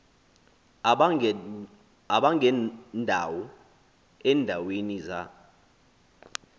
abangendawo eendaweni za